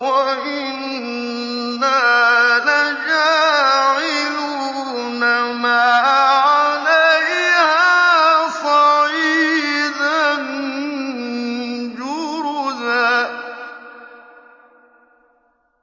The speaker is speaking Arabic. وَإِنَّا لَجَاعِلُونَ مَا عَلَيْهَا صَعِيدًا جُرُزًا